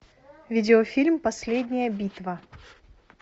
видеофильм последняя битва